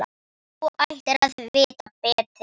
Þú ættir að vita betur!